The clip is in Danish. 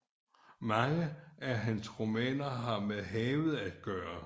Mange af hans romaner har med havet at gøre